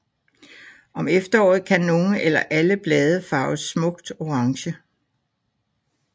Om efteråret kan nogle eller alle blade farves smukt orange